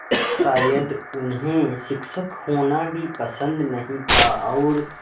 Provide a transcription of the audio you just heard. शायद उन्हें शिक्षक होना भी पसंद नहीं था और